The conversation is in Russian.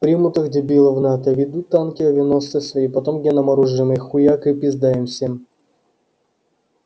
примут их дебилов в нато введут танки авианосцы свои потом генным оружием их хуяк и пизда им всем